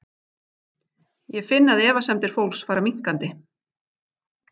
Ég finn að efasemdir fólks fara minnkandi.